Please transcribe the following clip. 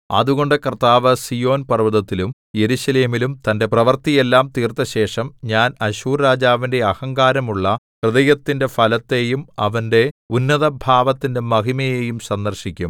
അതുകൊണ്ട് കർത്താവ് സീയോൻ പർവ്വതത്തിലും യെരൂശലേമിലും തന്റെ പ്രവൃത്തിയെല്ലാം തീർത്തശേഷം ഞാൻ അശ്ശൂർരാജാവിന്റെ അഹങ്കാരമുള്ള ഹൃദയത്തിന്റെ ഫലത്തെയും അവന്റെ ഉന്നതഭാവത്തിന്റെ മഹിമയെയും സന്ദർശിക്കും